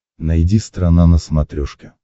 найди страна на смотрешке